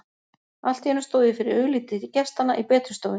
Allt í einu stóð ég fyrir augliti gestanna í betri stofunni.